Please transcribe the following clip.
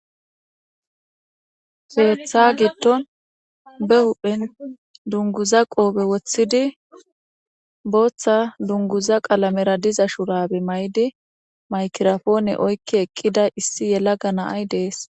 Keeththa gidon be huphen dunguza qophe wotidi botha dunguza qalamera diza shurabe maidi mayigiraphone oyiki eqida issi yelaga nay des.